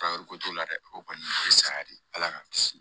ko t'o la dɛ o kɔni saya de ala k'an kisi